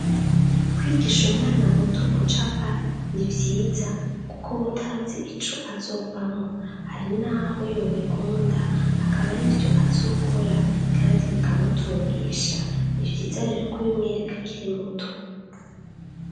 Kwigish'umwana muto gucapa nivyiza kuk' ubutazi ico azovamwo hari naho yobikunda akaba arivyo azokora kandi bikamutungisha, nivyiza rero kubimwerek'akiri muto.